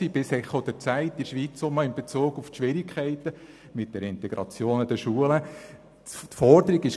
Sogar im «Echo der Zeit» wurde darüber im Zusammenhang mit den Schwierigkeiten der Integration in den Schulen schweizweit im Radio berichtet.